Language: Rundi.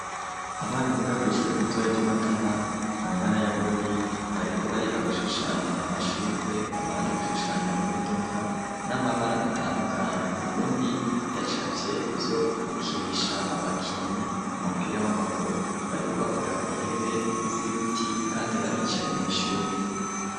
Abana biga kw'ishuri itoya ry'imatana mu ntara y'abururi bariko bariga gushushanya amashurwe abandi gushushanya imodoka n'amabara atandukanyi uwundi yacavye ivyo gukinisha abakinyi umupira w'amaguru bariko bakorera ku ntebe z'ibiti, kandi baricaye mw'ishuri.